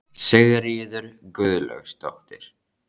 Sigríður Guðlaugsdóttir: Hvað gerðuð þið?